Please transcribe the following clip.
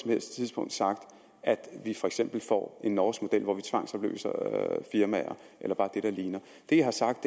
helst tidspunkt sagt at vi for eksempel får en norsk model hvor vi tvangsopløser firmaer eller bare det der ligner det jeg har sagt